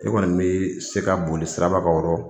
E kɔni bɛ se ka boli sirabagaw o rɔ.